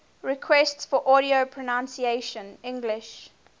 requests for audio pronunciation english